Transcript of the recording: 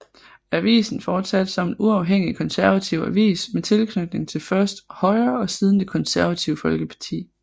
Avisen fortsatte som en uafhængig konservativ avis med tilknytning til først Højre og siden Det Konservative Folkeparti